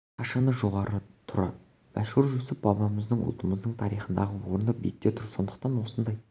қашан да жоғары тұр мәшһүр жүсіп бабамыздың ұлтымыздың тарихындағы орны биікте тұр сондықтан да осындай